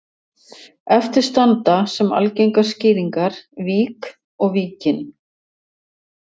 Eftir standa sem algengar skýringar vík og Víkin.